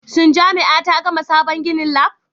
Shin jami'a ta gama sabon ginin Lab?